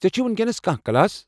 ژے٘ چُھیہ وُنكیٚنس كانہہ كلاس ؟